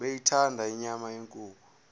beyithanda inyama yenkukhu